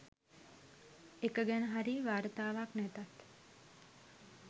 එක ගැන හරි වාර්තාවක් නැතත්